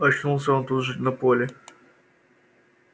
очнулся он тут же на поле